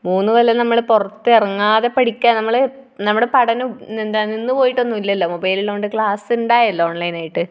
മൂന്നു കൊല്ലം നമ്മൾ പുറത്ത് ഇറങ്ങാതെ പഠിക്ക, നമ്മുടെ പഠനം എന്താണ് നിന്ന് പോയിട്ടൊന്നുമില്ലല്ലോ. മൊബൈൽ ഉള്ളതുകൊണ്ട് ക്ലാസ് ഉണ്ടായല്ലോ ഓൺലൈൻ ആയിട്ട്.